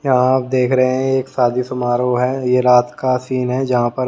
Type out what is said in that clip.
यहां आप देख रहे हैं एक शादी समारोह है ये रात का सीन है जहां पर--